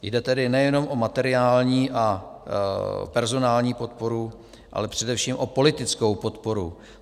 Jde tedy nejenom o materiální a personální podporu, ale především o politickou podporu.